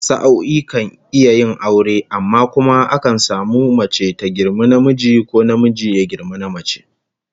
Sa'o'i kan iya yin aure, amma kuma akan samu mace ta girmi namiji, ko namiji ya girmi namace